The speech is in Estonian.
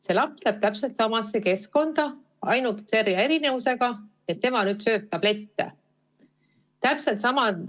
See laps läheb täpselt samasse keskkonda tagasi, ainult selle erinevusega, et tema sööb nüüd tablette.